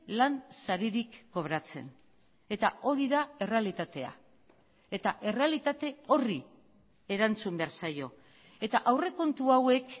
lan saririk kobratzen eta hori da errealitatea eta errealitate horri erantzun behar zaio eta aurrekontu hauek